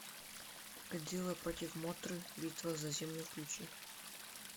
годзилла против мотры битва за землю включи